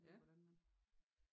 Ved hvordan man